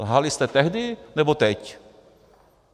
Lhali jste tehdy, nebo teď?